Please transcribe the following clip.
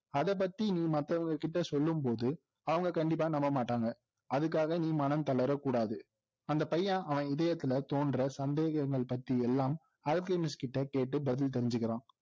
அதைபத்தி நீ மத்தவங்க கிட்ட சொல்லும்போது அவங்க கண்டிப்பா நம்ப மாட்டாங்க அதுக்காக நீ மனம் தளரக்கூடாது அந்த பையன் அவன் இதயத்தில தோன்ற சந்தேகங்கள் பத்தி எல்லாம் அல்கெமிஸ்ட்கிட்ட கேட்டு பதில் தெரிஞ்சுக்கிறான்